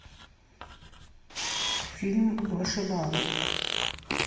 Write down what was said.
фильм вышибалы